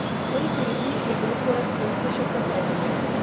Koliko ljudi je bilo poleg trojice še vpletenih?